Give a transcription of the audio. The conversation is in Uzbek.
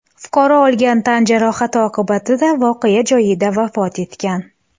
Fuqaro olgan tan jarohati oqibatida voqea joyida vafot etgan.